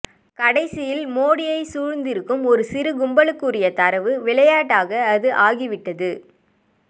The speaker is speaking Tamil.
கடைசியில் மோடியைச் சூழ்ந்திருக்கும் ஒரு சிறுகும்பலுக்குரிய தரவு விளையாட்டாக அது ஆகிவிட்டது